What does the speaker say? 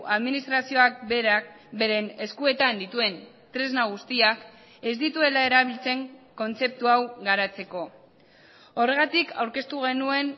administrazioak berak beren eskuetan dituen tresna guztiak ez dituela erabiltzen kontzeptu hau garatzeko horregatik aurkeztu genuen